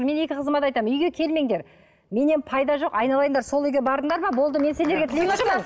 мен екі қызыма да айтамын үйге келмеңдер менен пайда жоқ айналайындар сол үйге бардыңдар ма болды мен сендерге тілеушімін